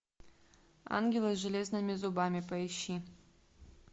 ангелы с железными зубами поищи